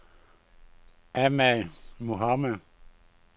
Ahmad Mohamed